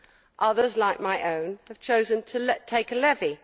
Others, like my own, have chosen to take a levy.